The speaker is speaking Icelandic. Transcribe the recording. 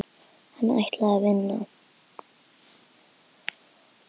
Hann ætlaði að vinna.